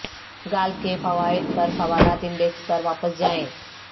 golf کے قواعد پر سوالات انڈیکس پر واپس جائیں